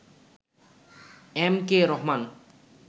M K Rahman